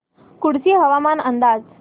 कुडची हवामान अंदाज